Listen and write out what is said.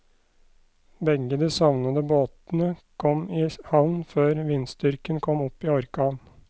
Begge de savnede båtene kom i havn før vindstyrken kom opp i orkan.